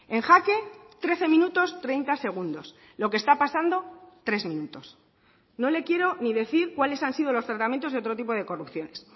en jake trece minutos treinta segundos lo que está pasando tres minutos no le quiero ni decir cuáles han sido los tratamientos de otro tipo de corrupciones